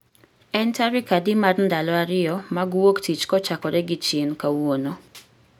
En tarik adi mar ndalo ariyo mag wuok tich kochakore gi chien kawuono